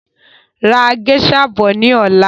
Ra géṣà bọ̀ ni ọ̀la!